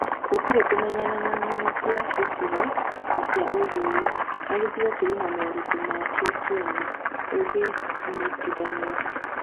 Gũtirĩ kũmenyana na ng'ano cia gĩcigo na cia ũndũire. O gĩcigo kĩrĩ na moritũ ma kĩo kĩene. Ũngĩnyitithania